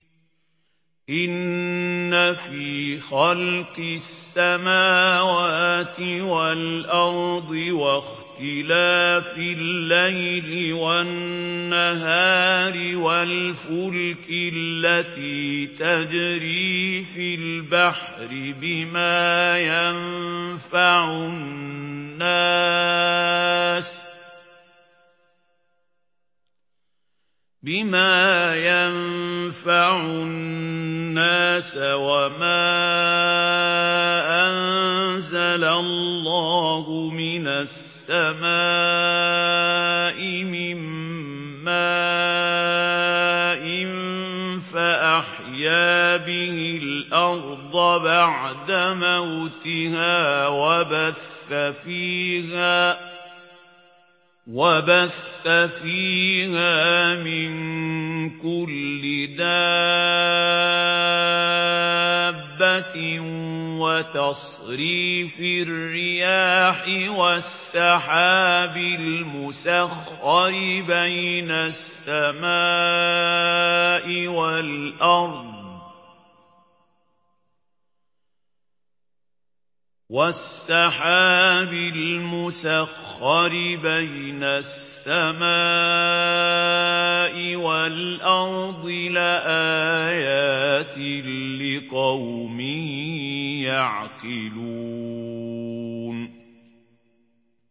إِنَّ فِي خَلْقِ السَّمَاوَاتِ وَالْأَرْضِ وَاخْتِلَافِ اللَّيْلِ وَالنَّهَارِ وَالْفُلْكِ الَّتِي تَجْرِي فِي الْبَحْرِ بِمَا يَنفَعُ النَّاسَ وَمَا أَنزَلَ اللَّهُ مِنَ السَّمَاءِ مِن مَّاءٍ فَأَحْيَا بِهِ الْأَرْضَ بَعْدَ مَوْتِهَا وَبَثَّ فِيهَا مِن كُلِّ دَابَّةٍ وَتَصْرِيفِ الرِّيَاحِ وَالسَّحَابِ الْمُسَخَّرِ بَيْنَ السَّمَاءِ وَالْأَرْضِ لَآيَاتٍ لِّقَوْمٍ يَعْقِلُونَ